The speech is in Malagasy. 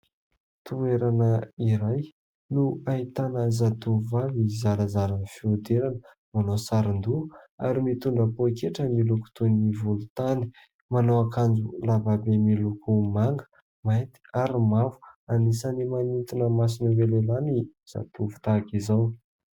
Toerana iray no ahitana zatovovavy zarazara fihodirana manao sarondoha ary mitondra poaketra miloko toy ny volontany manao akanjo lavabe miloko manga, mainty ary mavo. Anisany manintona mason'ireo lehilahy ny zatovo tahaka izao.